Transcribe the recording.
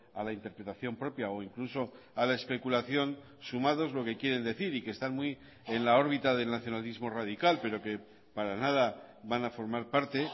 a la interpretación propia o incluso a la especulación sumados lo que quieren decir y que están muy en la órbita del nacionalismo radical pero que para nada van a formar parte